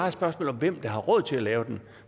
et spørgsmål om hvem der har råd til at lave den